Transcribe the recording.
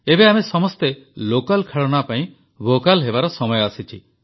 ଏବେ ଆମେ ସମସ୍ତେ ଲୋକାଲ୍ ଖେଳଣା ପାଇଁ ଭୋକାଲ୍ ହେବାର ସମୟ ଆସିଛି